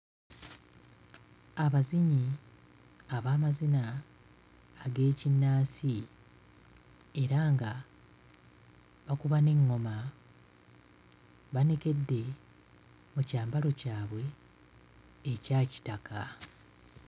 Abazinyi ab'amazina ag'ekinnansi era nga bakuba n'eŋŋoma banekedde mu kyambalo kyabwe ekya kitaka.